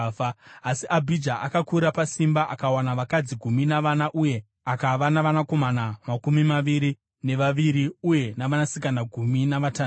Asi Abhija akakura pasimba. Akawana vakadzi gumi navana uye akava navanakomana makumi maviri nevaviri uye navanasikana gumi navatanhatu.